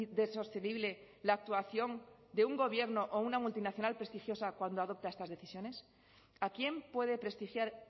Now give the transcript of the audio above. de sostenible la actuación de un gobierno o una multinacional prestigiosa cuando adopta esas decisiones a quién puede prestigiar